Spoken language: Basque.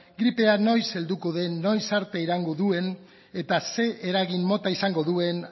gripea noiz helduko den noiz arte iraungo duen eta zer eragin mota izango duen